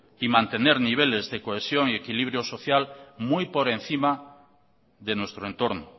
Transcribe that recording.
y mantener niveles de cohesión y equilibrio social muy por encima de nuestro entorno